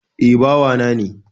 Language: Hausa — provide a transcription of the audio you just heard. Eh, bawa ne